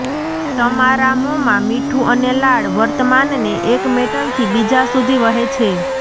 તમારા મોંમાં મીઠું અને લાળ વર્તમાનને એક મેટલથી બીજા સુધી વહે છે